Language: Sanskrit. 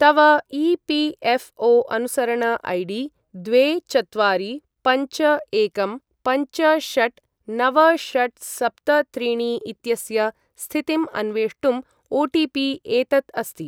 तव ई.पी.एफ़्.ओ.अनुसरण ऐ डी द्वे चत्वारि पञ्च एकं पञ्च षट् नव षट् सप्त त्रीणि इत्यस्य स्थितिम् अन्वेष्टुम् ओटिपि एतत् अस्ति।